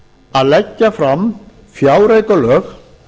að leggja fram fjáraukalög